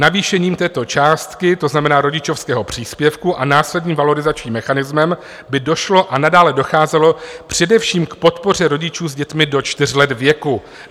Navýšením této částky, to znamená rodičovského příspěvku a následným valorizačním mechanismem, by došlo a nadále docházelo především k podpoře rodičů s dětmi do čtyř let věku.